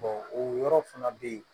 o yɔrɔ fana bɛ yen